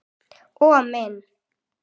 Og minni.